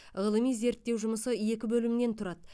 ғылыми зерттеу жұмысы екі бөлімнен тұрады